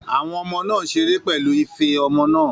Àwọn ọmọ náà ń ṣeré pẹ̀lú ife ọmọ náà